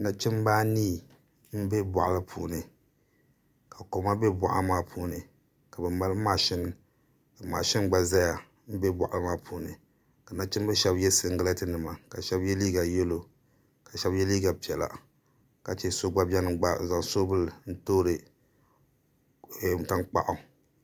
Nachimbi anii n bɛ boɣali puuni ka koma bɛ boɣali puuni ka mashun gba ʒɛya n bɛ boɣali maa puuni ka nachimbihi shab yɛ singirɛti nima ka shab yɛ liiga yɛlo ka shab yɛ liiga piɛla ka chɛ so gba biɛni n gba zaŋ soobuli toori tankpaɣu